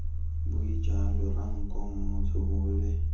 bue jalo ranko motho yole